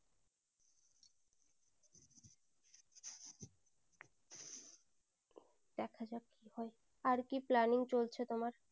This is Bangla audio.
কি হয় আর কি planning চলছে তোমার